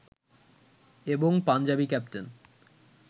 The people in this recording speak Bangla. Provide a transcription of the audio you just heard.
এবং পাঞ্জাবি ক্যাপ্টেন